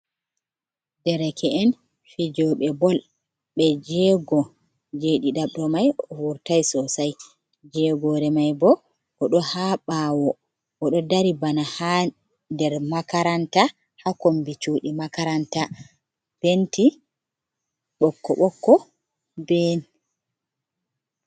Dereke’en fijoɓe bol ɓe jego jeɗi ɗaɓro mai vurtai sosai, jegore mai bo oɗo ha ɓawo oɗo dari bana ha nder makaranta ha kombi cuɗi makaranta penti ɓoƙko-ɓoƙko be.